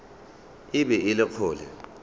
e be e le kgole